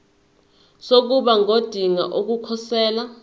sokuba ngodinga ukukhosela